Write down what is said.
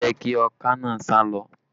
Má jẹ̀ kí ọká naa sálọ!